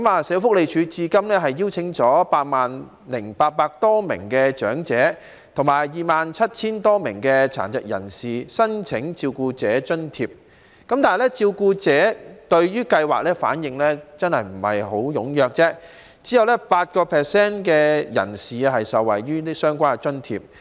社會福利署至今邀請了 80,800 多名長者及 27,000 多名殘疾人士申請照顧者津貼，但照顧者對計劃的反應不太踴躍，只有 8% 的人士受惠於相關津貼。